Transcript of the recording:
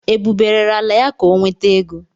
Ebube rere ala ya ka ọ nweta ego.